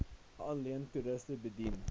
alleenlik toeriste bedien